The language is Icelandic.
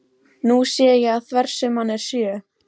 Nú sé ég að þversumman er sjö.